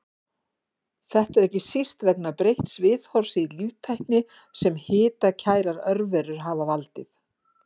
Þetta er ekki síst vegna breytts viðhorfs í líftækni sem hitakærar örverur hafa valdið.